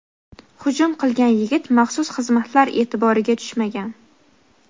hujum qilgan yigit maxsus xizmatlar "e’tibori"ga tushmagan.